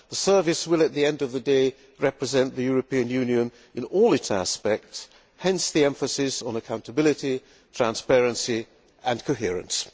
The Service will, at the end of the day, represent the European Union in all its aspects, hence the emphasis on accountability, transparency and coherence.